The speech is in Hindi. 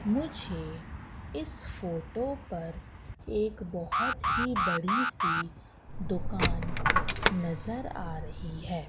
मुझे इस फोटो पर एक बहोत ही बड़ी सी दुकान नजर आ रही हैं।